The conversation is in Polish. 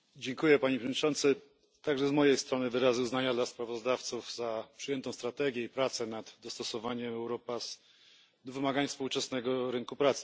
Panie Przewodniczący! Także z mojej strony wyrazy uznania dla sprawozdawców za przyjętą strategię i prace nad dostosowaniem Europass do wymagań współczesnego rynku pracy.